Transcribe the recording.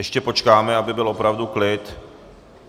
Ještě počkáme, aby byl opravdu klid.